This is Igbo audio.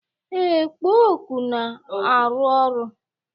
Ee, kpo oku na-arụ ọrụ